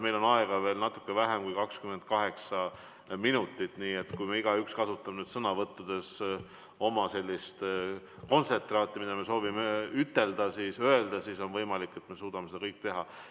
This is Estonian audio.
Meil on aega natuke vähem kui 28 minutit, nii et kui igaüks kasutab sõnavõtus sellist kontsentraati, mida ta soovib ütelda, siis on võimalik, et me suudame seda teha.